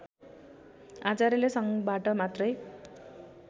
आचार्यले सङ्घबाट मात्रै